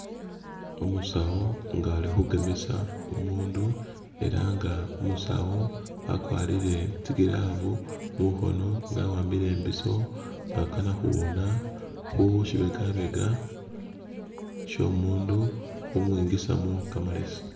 Umusawu nga ali khugemesa umundu, ela nga umusawu akwarire tsi glove mukhono nga a wa'ambile imbisyo nga akana khuwuna khu shibegabega syo'omundu khumwingisamu kamalesi